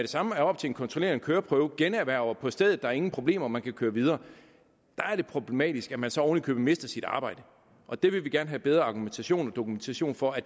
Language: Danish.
samme er oppe til en kontrollerende køreprøve generhverver på stedet der er ingen problemer og man kan køre videre er det problematisk at man så oven i købet mister sit arbejde og det vil vi gerne have bedre argumentation og dokumentation for